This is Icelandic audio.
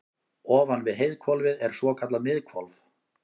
ofan við heiðhvolfið er svokallað miðhvolf